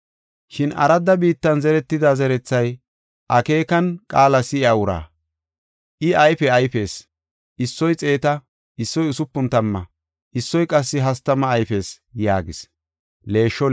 Shin aradda biittan zeretida zerethay akeekan qaala si7iya uraa. I ayfe ayfees; issoy xeeta, issoy usupun tamma issoy qassi hastama ayfees” yaagis.